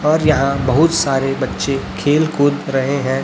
और यहां बहुत सारे बच्चे खेल कूद रहे हैं।